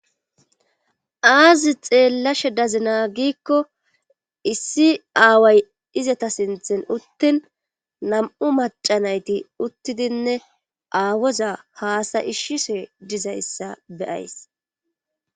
aazi xeellashe dazinaa giikko issi aaway izata sinthen uttin nam7u macanayti uttidinne aawoza haasa ishshise dizayssa beyays